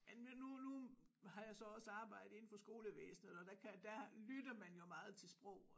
Nu nu har jeg så også arbejde indenfor skolevæsnet og der kan der lytter man jo meget til sprog